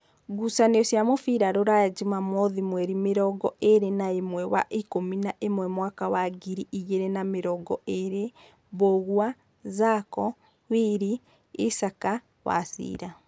Ngucanio cia mũbira Ruraya Jumamothi mweri mĩrongoĩrĩ naĩmwe wa ikũmi naĩmwe mwaka wa ngiri igĩrĩ na namĩrongoĩrĩ: Mbũgua, Zacho, Wili, Isac, Wachira